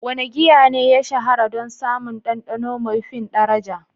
Wane giya ne ya shahara don samun ɗanɗano maifin ɗaraja?